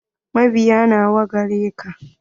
Mabiya nawa gareka?